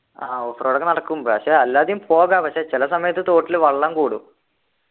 ആഹ് off road ഒക്കെ നടക്കും പക്ഷെ അല്ലാതെയും പോകാം പക്ഷെ ചില സമയത്ത് തോട്ടിൽ വെള്ളം കൂടും